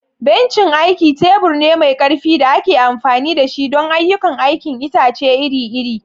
Bencin aiki tebur ne mai ƙarfi da ake amfani da shi don ayyukan aikin itace iri-iri.